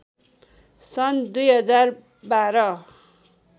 सन् २०१२